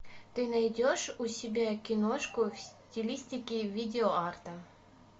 ты найдешь у себя киношку в стилистике видео арта